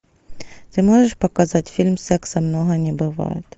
ты можешь показать фильм секса много не бывает